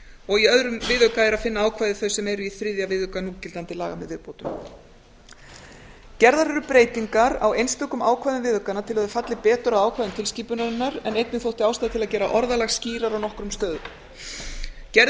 og í öðrum viðauka er að finna ákvæða þau sem eru í þriðja viðauka núgildandi laga með viðbótum gerðar eru breytingar á einstökum ákvæðum viðaukanna til að þær falli betur að ákvæðum tilskipunarinnar en einnig þótti ástæða til að gera orðalag skýrara á nokkrum stöðum gerð er